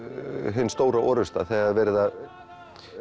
hin stóra orrusta þegar er verið að